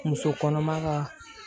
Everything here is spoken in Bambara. Muso kɔnɔma ka